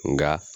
Nka